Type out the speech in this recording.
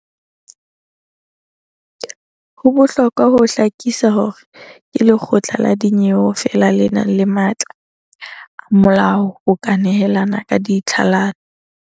Ho bohlokwa ho hlakisa hore ke lekgotla la dinyewe feela le nang le matla a molao ho ka nehelana ka tlhalano.